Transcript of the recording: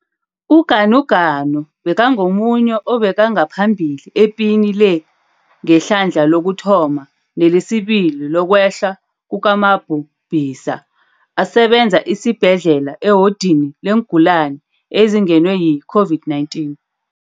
UGanuganu bekangomunye obekangaphambili epini le ngehlandla lokuthoma nelesibili lokwehla kukamabhu bhisa, asebenza esibhedlela ewodini leengulani ezingenwe yi-COVID-19.